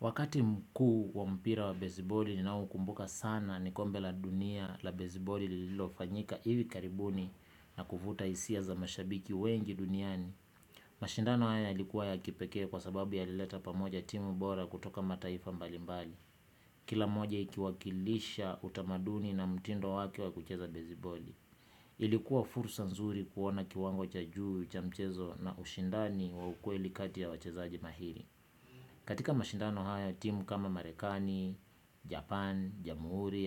Wakati mkuu wa mpira wa bezeboli ninaoumbuka sana ni kombe la dunia la bezeboli lililofanyika hivi karibuni na kuvuta hisia za mashabiki wengi duniani. Mashindano haya yalikuwa ya kipekee kwa sababu yalileta pamoja timu bora kutoka mataifa mbalimbali. Kila moja ikiwakilisha utamaduni na mtindo wake wa kucheza bezeboli. Ilikuwa fursa nzuri kuona kiwango cha juu cha mchezo na ushindani wa ukweli kati ya wachezaji mahili. Katika mashindano haya timu kama Marekani, Japan, Jamuhuri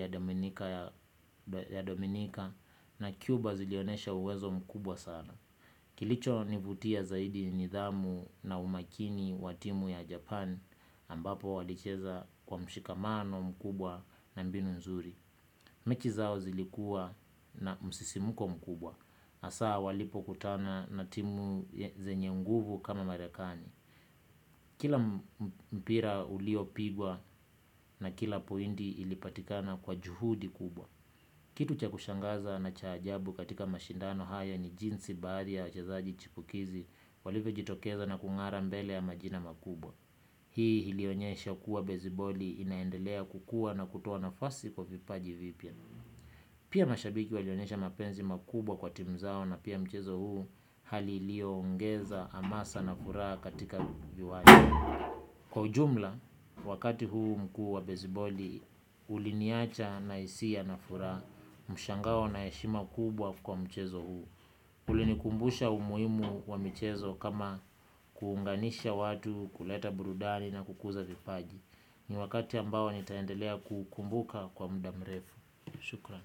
ya Dominika na Cuba zilionesha uwezo mkubwa sana. Kilicho nivutia zaidi ni nidhamu na umakini wa timu ya Japan ambapo walicheza kwa mshikamano mkubwa na mbinu nzuri. Mechi zao zilikua na msisimko mkubwa hasa walipokutana na timu zenye nguvu kama Marekani. Kila mpira uliopigwa na kila point ilipatikana kwa juhudi kubwa. Kitu cha kushangaza na cha ajabu katika mashindano haya ni jinsi baadhi ya wachazaji chipukizi walivyojitokeza na kung'ara mbele ya majina makubwa. Hii ilionyesha kuwa beziboli inaendelea kukua na kutoa nafasi kwa vipaji vipya. Pia mashabiki walionyesha mapenzi makubwa kwa tim zao na pia mchezo huu hali iliyo ongeza hamasa na furaha katika viwanja. Kwa ujumla, wakati huu mkuu wa beziboli, uliniacha na hisia na furaha mshangao na heshima kubwa kwa mchezo huu. Ulinikumbusha umuhimu wa mchezo kama kuunganisha watu kuleta burudari na kukuza vipaji. Ni wakati ambao nitaendelea kuukumbuka kwa mdamrefu. Shukrani.